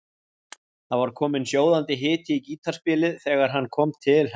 Það var kominn sjóðandi hiti í gítarspilið þegar hann kom til hennar.